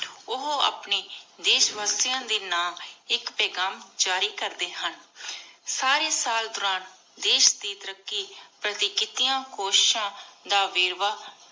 ਓਹੋ ਆਪਣੀ ਦੇਸ਼ ਵਾਸਿਯਾਂ ਦੇ ਨਾਮ ਆਇਕ ਪੇਘਾਮ ਜਾਰੀ ਕਰਦੀ ਹਨ ਸਾਰੀ ਸਾਲ ਦੁਰਾਨ ਦੇਸ਼ ਦੇ ਤਾਰਾਕ਼ੀ ਪਾਰਟੀ ਕਿਤਿਯਾਂ ਕੋਸ਼ਿਸ਼ਾਂ ਦਾ ਵੇਰ੍ਵਾਹ